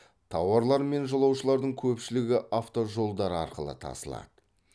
тауарлар мен жолаушылардың көпшілігі автожолдар арқылы тасылады